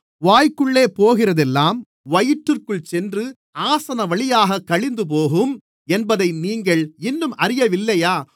வாய்க்குள்ளே போகிறதெல்லாம் வயிற்றுக்குள் சென்று ஆசனவழியாகக் கழிந்துபோகும் என்பதை நீங்கள் இன்னும் அறியவில்லையா